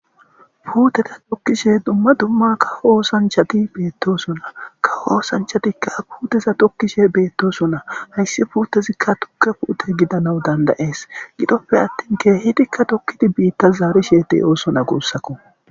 Puteta tokishshe dumma dumma kawo oosanchchati bettosona kawo oosanchchatikka puteza tokishshe betosona hayss putezikka tuke putte gidanass dandayes gidoppe atin tokidi bitta zarishshe dettes gussakko